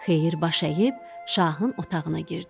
Xeyir baş əyib şahın otağına girdi.